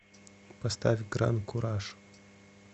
поставь гран куражъ